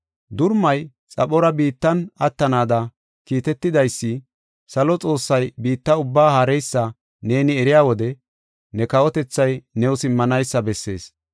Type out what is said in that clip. Durumay xaphora biittan attanaada kiitetidaysi, salo Xoossay biitta ubbaa haareysa neeni eriya wode, ne kawotethay new simmanaysa bessees.